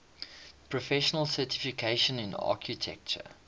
professional certification in architecture